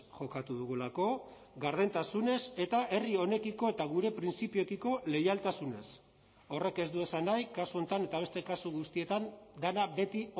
jokatu dugulako gardentasunez eta herri honekiko eta gure printzipioekiko leialtasunez horrek ez du esan nahi kasu honetan eta beste kasu guztietan dena beti